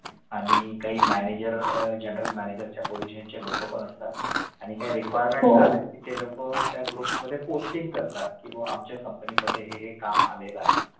आणि काही manager आह general manager position चे लोकं असतात आणि काही requirements आल्या कि ते लोकं त्या group मध्ये posting करतात किंवा आमच्या company मध्ये हे हे काम आलेलं आहे